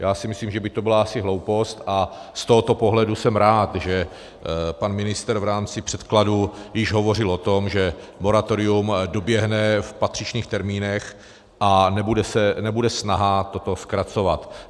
Já si myslím, že by to byla asi hloupost, a z tohoto pohledu jsem rád, že pan ministr v rámci předkladu již hovořil o tom, že moratorium doběhne v patřičných termínech a nebude snaha toto zkracovat.